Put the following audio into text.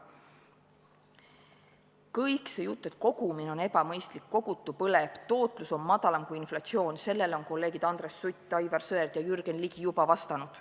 Kogu sellele jutule, et kogumine on ebamõistlik, kogutu põleb, tootlus on madalam kui inflatsioon, on kolleegid Andres Sutt, Aivar Sõerd ja Jürgen Ligi juba vastanud.